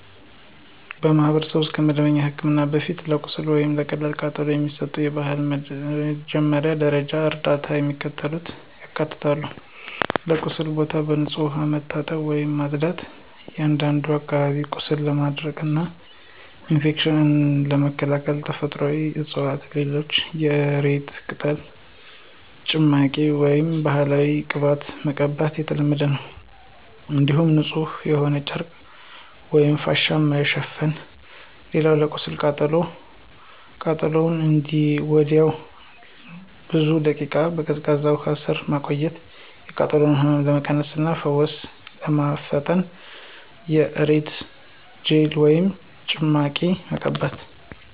በማኅበረሰብ ውስጥ ከመደበኛ ሕክምና በፊት ለቁስል ወይም ለቀላል ቃጠሎ የሚሰጡ ባህላዊ ወይም የመጀመሪያ ደረጃ እርዳታዎች የሚከተሉትን ያካትታሉ የቁስሉን ቦታ በንጹሕ ውሃ መታጠብ ወይም ማጽዳት፣ አንዳንድ አካባቢዎች ቁስልን ለማድረቅና ኢንፌክሽንን ለመከላከል ተፈጥሯዊ ዕፅዋትን ለምሳሌ የእሬት ቅጠል ጭማቂ ወይም ባህላዊ ቅባቶችን መጠቀም የተለመደ ነው። እንዲሁም ንጹሕ በሆነ ጨርቅ ወይም ፋሻ መሸፈን። ሌላው ለቀላል ቃጠሎ ቃጠሎውን ወዲያውኑ ለብዙ ደቂቃዎች በቀዝቃዛ ውሃ ስር ማቆየት፣ የቃጠሎውን ህመም ለመቀነስ እና ፈውስ ለማፋጠን የእሬት ጄል ወይም ጭማቂ መቀባት።